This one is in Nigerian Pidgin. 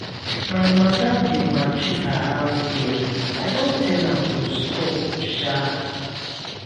my madam dey maltreat her house girl i don tell am to stop shaa.